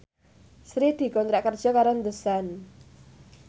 Sri dikontrak kerja karo The Sun